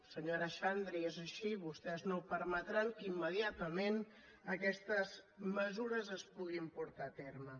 senyora xandri és així vostès no permetran que immediatament aquestes mesures es puguin portar a terme